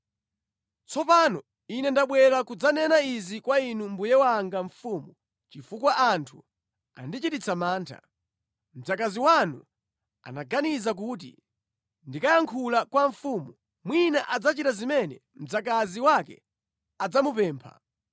“Tsopano ine ndabwera kudzanena izi kwa inu mbuye wanga mfumu chifukwa anthu andichititsa mantha. Mdzakazi wanu anaganiza kuti, ‘Ndikayankhula kwa mfumu, mwina adzachita zimene mdzakazi wake adzamupempha.